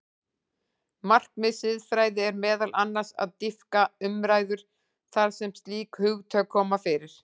Markmið siðfræði er meðal annars að dýpka umræðu þar sem slík hugtök koma fyrir.